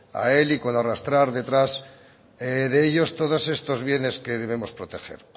a él y con arrastrar detrás de ellos todos estos bienes que debemos proteger